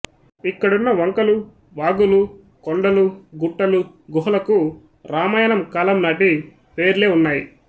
ఇక్కడున్న వంకలు వాగులు కొండలు గుట్టలు గుహలకు రామాయణం కాలంనాటి పేర్లే ఉన్నాయి